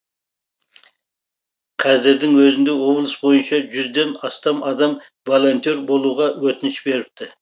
қазірдің өзінде облыс бойынша жүзден астам адам волонтер болуға өтініш беріпті